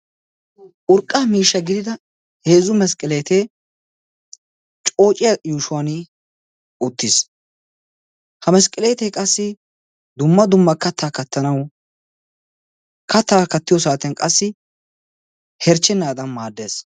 Urqqaa miishsha gidida heezzu mesqqeleetee coociya yuushuwaan uttiis. Ha mesqqeleetee qassi dumma dumma kattaa kattanawu, kattaa kattiyo saatiyan qassi herchchennaadan maaddees.